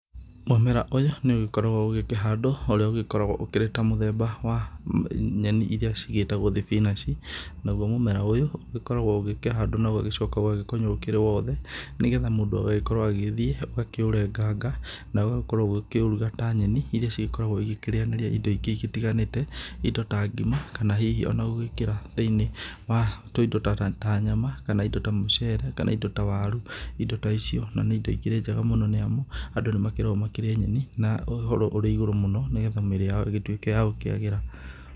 Mũmera ũyũ nĩ ũgĩkoragwo ũgĩkĩhandwo ũrĩa ũgĩkoragwo ũkĩrĩ ta mũthemba wa nyeni iria cigĩtagwo thibinanji. Naguo mũmera ũyũ ũgĩkoragwo ũgĩkĩhandwo na ũgagĩcoka ũgakunywo ũkĩrĩ wothe nĩ getha mũndũ agagĩkorwo agĩgĩthiĩ gũkĩũrenganga na ũgagĩkorwo ũkĩũruga ta nyeni iria cigĩkoragwo igĩkĩrĩanĩria indo ingĩ itiganĩte, indo ta ngima kana hihi ona ngũgĩkĩra thĩinĩ wa tũindo ta nyama kana indo ta mũcere kana indo ta waru. Indo ta ici na nĩ indo ikĩrĩ njega mũno nĩ amu andũ nĩ makĩragwo makĩrĩe nyeni na ũhoro ũrĩ igũrũ mũno nĩ getha mĩrĩ yao ĩgĩtuĩke ya gũkĩagĩra.